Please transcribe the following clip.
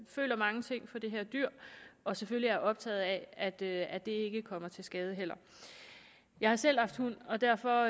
føler mange ting for det her dyr og selvfølgelig også er optaget af at det ikke kommer til skade jeg har selv haft hund og derfor